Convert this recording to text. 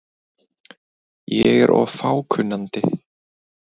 Ég er of fákunnandi.